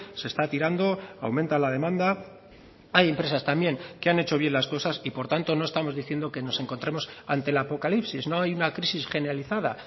se está tirando aumenta la demanda hay empresas también que han hecho bien las cosas y por tanto no estamos diciendo que nos encontremos ante el apocalipsis no hay una crisis generalizada